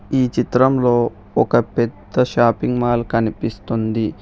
ఈ చిత్రంలో ఒక పెద్ద షాపింగ్ మాల్ కనిపిస్తుంది